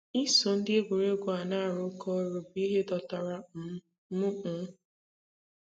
Iso ndị egwuregwu a na-arụkọ ọrụ bụ ihe dọtara um m.' um